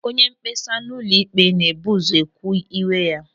Onyemkpesa n'ụlọ ikpe na-ebu ụzọ kwuo iwe ya.